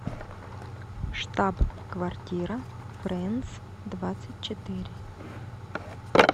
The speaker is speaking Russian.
штаб квартира френдс двадцать четыре